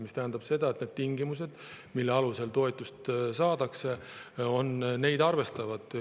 See tähendab, et need tingimused, mille alusel toetust saadakse, neid arvestavad.